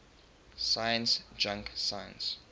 science junk science